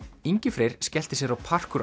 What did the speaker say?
Ingi Freyr skellti sér á